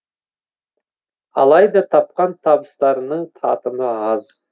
алайда тапқан табыстарының татымы аз